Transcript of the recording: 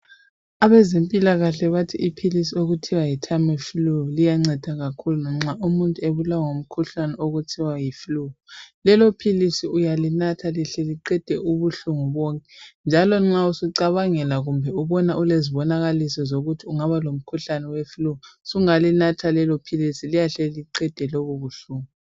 Abezempilakahle bathi iphilisi okuthiwa yiTamiflu, liyanceda kakhulu manxa umuntu ebulawa yiflu. Lelophilisi uyalinatha lihle liqede ubuhlungu bonke. Njalo nxa usucabangela kumbe ubona ukezibonakaliso zokuthi ungaba oomkhuhlane weflu, usungalinatha lelophilisi. Liyahle liqede lobobuhlungu.